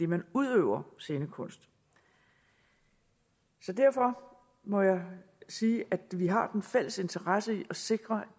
man udøver scenekunst så derfor må jeg sige at vi har en fælles interesse i at sikre